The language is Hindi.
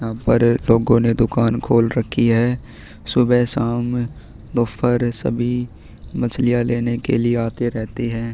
यहाँ पर लोगो ने दुकान खोल रखी है सुबह शाम दोपहर सभी मछलिया लेने के लिए आते रहते है।